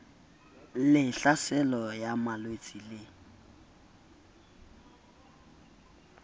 le tlhaselo ya malwetse le